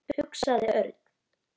hugsaði Örn.